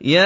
يَا